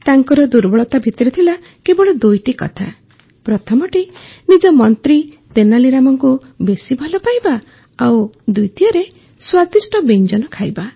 ତାଙ୍କର ଦୁର୍ବଳତା ଭିତରେ ଥିଲା କେବଳ ଦୁଇଟି କଥା ପ୍ରଥମଟି ନିଜ ମନ୍ତ୍ରୀ ତେନାଲୀ ରାମାକୁ ବେଶୀ ଭଲ ପାଇବା ଓ ଦ୍ୱିତୀୟରେ ସ୍ୱାଦିଷ୍ଟ ବ୍ୟଞ୍ଜନ ଖାଇବା